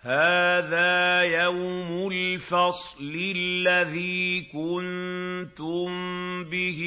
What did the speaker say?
هَٰذَا يَوْمُ الْفَصْلِ الَّذِي كُنتُم بِهِ